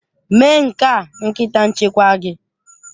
Mee nke a nkịta nchekwa gị!